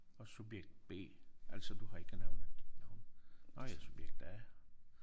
Og subjekt B altså du har ikke nævnet dit navn. Nåh ja subjekt A